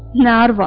Nə arvad?